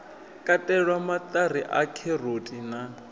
katelwa maṱari a kheroti na